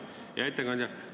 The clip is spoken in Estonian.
Hea ettekandja!